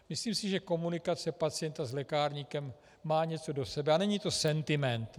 Myslím si, že komunikace pacienta s lékárníkem má něco do sebe, a není to sentiment.